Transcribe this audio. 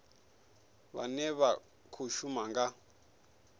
vhane vha khou shuma nga